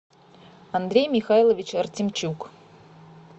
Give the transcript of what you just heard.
андрей михайлович артемчук